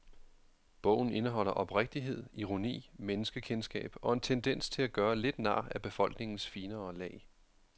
Bogen indeholder oprigtighed, ironi, menneskekendskab og en tendens til at gøre lidt nar af befolkningens finere lag.